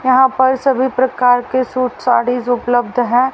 यहां पर सभी प्रकार के सूट सारीज उपलब्ध है।